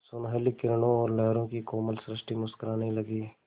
सुनहली किरणों और लहरों की कोमल सृष्टि मुस्कराने लगी